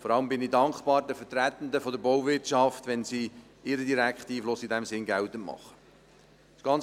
Vor allem bin ich den Vertretenden der Bauwirtschaft dankbar, wenn sie ihren direkten Einfluss in diesem Sinne geltend machen können.